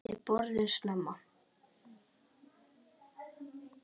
Við borðum snemma.